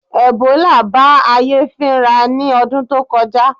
Ẹ̀bólà bá ayé fínra ní ọdún tó kọjá